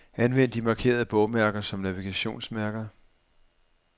Anvend de markerede bogmærker som navigationsmærker.